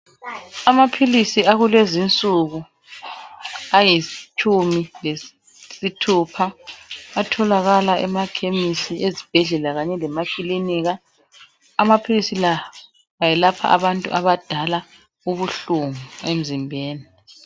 Amaphilisi akulezinsuku alitshumi lesithupha atholakala emakhemisi ezibhedlela kanye lemakilinika amaphilisi la ayelapha abantu abadala ubuhlungu emzimbeni.